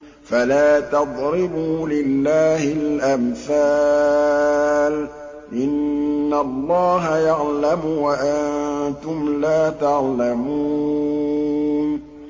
فَلَا تَضْرِبُوا لِلَّهِ الْأَمْثَالَ ۚ إِنَّ اللَّهَ يَعْلَمُ وَأَنتُمْ لَا تَعْلَمُونَ